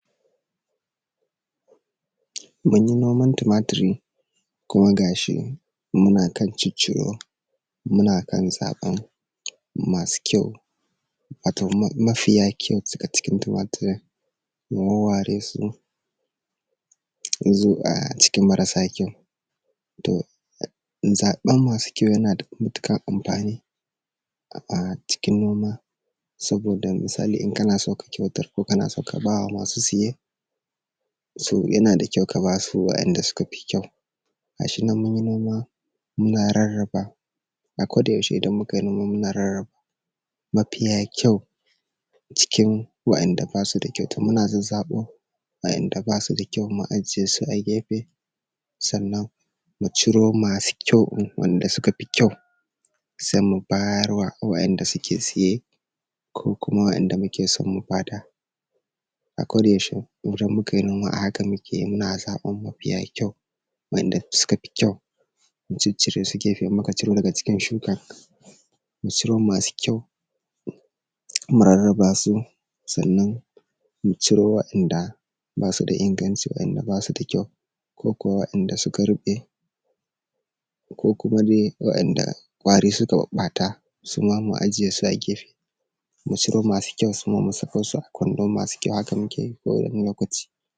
Munyi noman tumaturi kuma ga shi muna kan cicciro, muna kan zaɓan masu kyau. wato mafiya kyau daga cikin tumaturin muwawware su. Mu zo ah cikin marasa kyau, to mu zaɓa masu kyau yana da matuƙan amfani a cikin noma misali idan kana so ka kyautar ko kana so ka ba masu saye, so yana da kyau ka ba su wa’yanda suka fi kyau. ga shi nan mun yi noma muna rarraba, akodayaushe idan muka yi noma rarraba, mafiya kyau cikin wa’yanda ba su da kyau muna zazzaɓo, wa’yanda ba su da kyau mu a jiye su a gefe. Sannan mu ciro masu kyau waɗanda suka fi kyau, sai mu bayarwa waɗanda da suke saye, ko kuma waɗanda muke so mu ba da. Akodayaushe idan mukai noma haka muke, muna zaɓan mafiya kyau, waɗanda suka fi kyau mu ciccire su a gefe, idan muka muka ciro daga cikin shukan, mu ciro masu kyau, mu rarraba su. sannan mu ciro wa’yanda ba su da inganʧi, waɗanda ba su da kyau ko kuwa wa’yanda suka ruɓe, ko kuma dai wa’yanda ƙwari suka ɓaɓɓata suma mu ajiye su a gefe, mu ciro masu kyau mu sako su a kwando, masu kyau haka muke yi kowane lokaci.